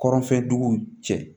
Kɔrɔnfɛ dugu cɛ